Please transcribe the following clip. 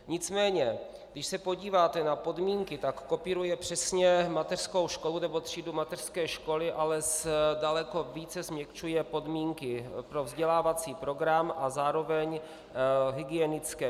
Nicméně když se podíváte na podmínky, tak kopíruje přesně mateřskou školu nebo třídu mateřské školy, ale daleko více změkčuje podmínky pro vzdělávací program a zároveň hygienické.